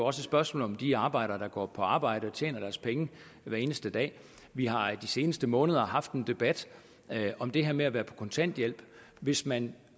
et spørgsmål om de arbejdere der går på arbejde og tjener deres penge hver eneste dag vi har i de seneste måneder haft en debat om det her med at være på kontanthjælp hvis man